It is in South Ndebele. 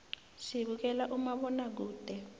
sibukela umabonakude